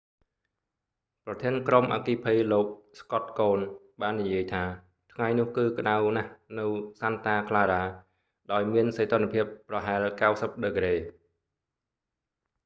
ប្រធានក្រុមអគ្គិភ័យលោក scott kouns បាននិយាយថា ថ្ងៃនោះគឺក្តៅណាស់នៅ santa clara ដោយមានសីតុណ្ហភាពប្រហែល 90 ដឺក្រេ